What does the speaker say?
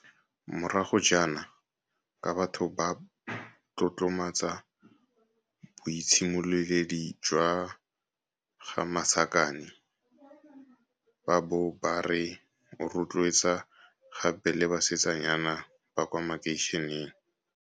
morago jaana, ka batho ba tlotlomatsa boitshimoledi jwa ga Masakane ba bo ba re o rotloetsa gape le basetsanyana ba kwa makeisheneng.